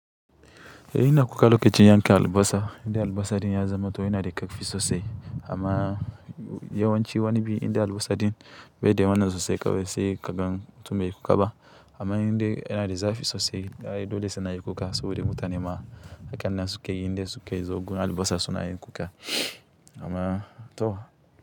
Eh ina kuka lokacin yanka albasa. Inda albasa ɗin ya zama toh ina da ƙarfi sosai amma yawanci wani biyu inda albasa ɗin bai dai wanan sosai kawai sai kagan mutumin ya yi kuka ba amma inda ina da zafi sosai, dole sai na yi kuka saboda mutane ma hakannin suke yi, inda suke yi zogun albasa suna yin kuka amma toh.